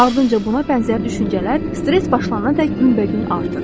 Ardınca buna bənzər düşüncələr stress başlanana dək binbə bin artır.